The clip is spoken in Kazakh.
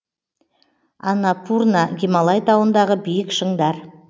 аннапурна гималай тауындағы биік шыңдар